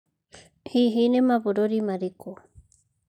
Hihi nĩ mabũrũri marĩkũ?